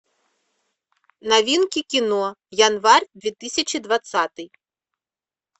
новинки кино январь две тысячи двадцатый